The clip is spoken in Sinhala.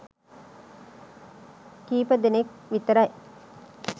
කීපදෙනෙක් විතරයි.